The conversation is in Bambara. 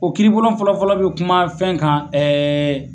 O kiiribulon fɔlɔ-fɔlɔ bɛ kuma fɛn kan ɛɛ